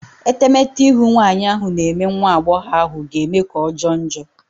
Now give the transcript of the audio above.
Etemete ihu nwanyị ahụ na-eme nwa agbọghọ ahụ ga-eme ka ọjọọ njọ.